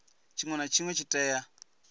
tshinwe na tshinwe tshi tea